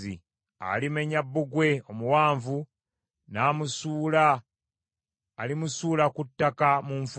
Alimenya bbugwe omuwanvu, n’amusuula, alimusuula ku ttaka, mu nfuufu.